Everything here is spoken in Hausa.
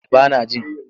Ba nan jin.